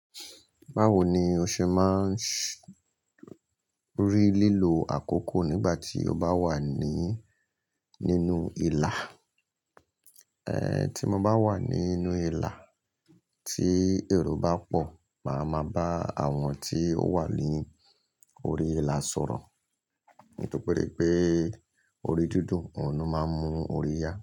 Bawo ni o se maa n s rí lílo àkókò nígbà tí o bá wà ní nínú ìlà? Eh, tí mo bá wà nínú ìlà tí èrò bá pọ̀, màá ma bá àwọn tí ó wà ní orí ìlà sọ̀rọ̀. Nítorí pé orí dídùn òun máa ń mú orí yá.